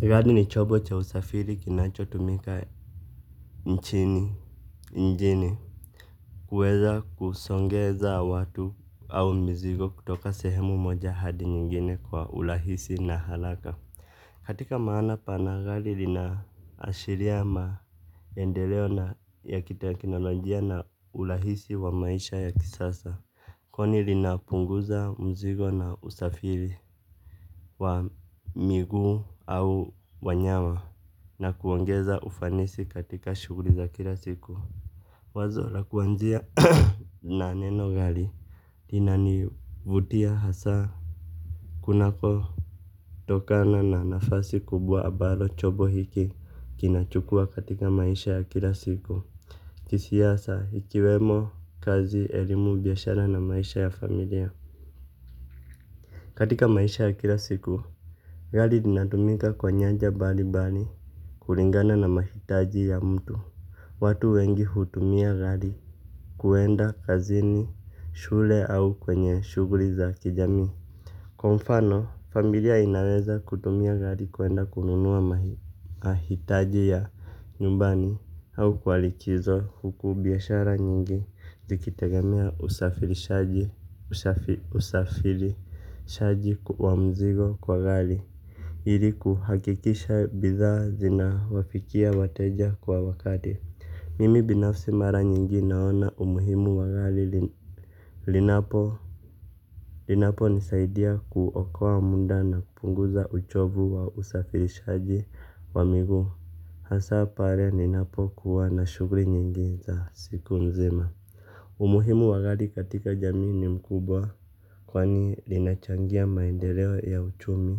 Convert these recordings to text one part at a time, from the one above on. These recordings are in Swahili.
Gari ni chombo cha usafiri kinachotumika nchini mjini. Kuweza kusongeza watu au mizigo kutoka sehemu moja hadi nyingine kwa urahisi na haraka. Katika maana pana gari linaashiria maendeleo na ya kitekinolojia na urahisi wa maisha ya kisasa. Kwani linapunguza mzigo na usafiri wa miguu au wanyama. Na kuongeza ufanisi katika shuguli za kila siku wazo la kuanzia na neno gari linani vutia hasa. Kunako tokana na nafasi kubwa ambalo chombo hiki kinachukua katika maisha ya kila siku kisiasa ikiwemo kazi elimu biashara na maisha ya familia. Katika maisha ya kila siku gari linatumika kwa nyanja mbali mbali kulingana na mahitaji ya mtu. Watu wengi hutumia gari kuenda kazini, shule au kwenye shuguli za kijami. Kwa mfano, familia inaweza kutumia gari kuenda kununua mahitaji ya nyumbani au kwalikizo huku biashara nyingi zikitegemea usafirishaji shaji kwa mzigo kwa gari. Ili kuhakikisha bidha zina wafikia wateja kwa wakati mimi binafsi mara nyingi naona umuhimu wagari. Linapo linapo nisaidia kuokowa muda na kupunguza uchovu wa usafirishaji wa miguu. Hasa pale ninapokuwa na shuguli nyingi za siku nzima umuhimu wagari katika jamii ni mkubwa. Kwani linachangia maendeleo ya uchumi.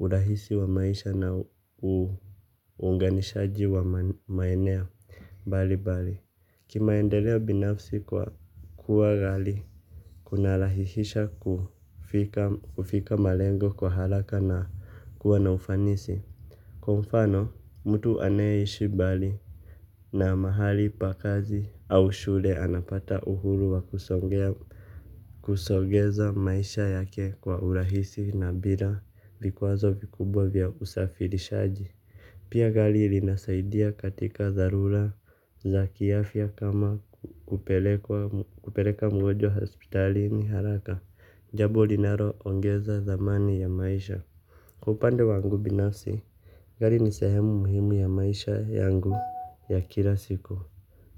Urahisi wa maisha na unganishaji wa maeneo mbali mbali kimaendelea binafsi kwa kua gari kunarahihisha kufika malengo kwa haraka na kuwa na ufanisi. Kwa mfano, mtu anayeishi mbali na mahali pakazi au shule anapata uhuru wa kusongea. Kusogeza maisha yake kwa urahisi na bila vikwazo vikubwa vya usafirishaji. Pia gari ilinisaidia katika dharura za kiafya kama kupeleka mgojwa hospitalini haraka. Jambo linalo ongeza thamani ya maisha. Upande wangu binafsi gari ni sehemu muhimu ya maisha yangu ya kila siku.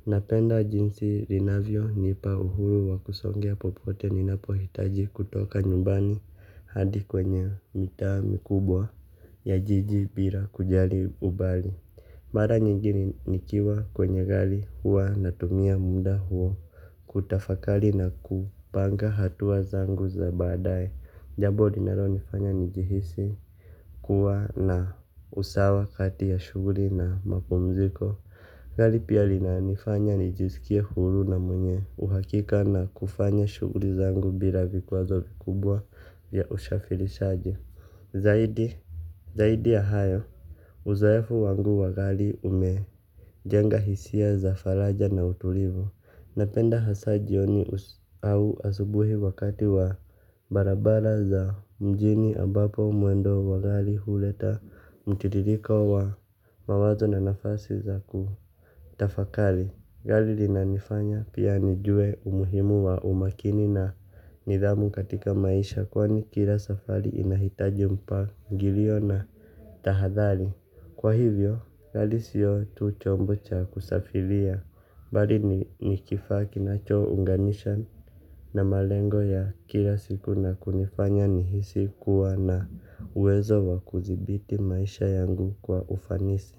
Napenda jinsi linavyo nipa uhuru wa kusongea popote ni napohitaji kutoka nyumbani hadi kwenye mitaa mikubwa ya jiji bila kujali umbali. Mara nyingini nikiwa kwenye gari huwa natumia muda huwo. Kutafakari na kupanga hatua zangu za badaye jabo linalo nifanya nijihisi kuwa na usawa kati ya shuguli na mapumziko gari pia linanifanya nijisikie huru na mwenye uhakika na kufanya shuguli zangu bila vikwazo zikubwa vya usafirishaji zaidi zaidi ya hayo uzeofu wangu wagari umejenga hisia za faraja na utulivu. Napenda hasa jioni au asubuhi wakati wa barabara za mjini ambapo mwendo wa gari huleta mtitiriko wa mawazo na nafasi za ku tafakari, gari lina nifanya pia nijue umuhimu wa umakini na nidhamu katika maisha kwa nikila safari inahitaji mpangilio na tahadhari. Kwa hivyo, gari siyo tu chombu chakusafiria, bali ni nikifa kinacho unganisha na malengo ya kila siku na kunifanya nihisi kuwa na uwezo wa kudhibiti maisha yangu kwa ufanisi.